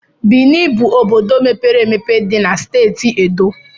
Bini bụ obodo mepere emepe dị na Steeti Edo.